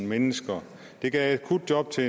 mennesker det gav akutjob til